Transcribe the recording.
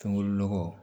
Fɛnkuru nɔgɔ